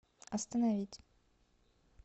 остановить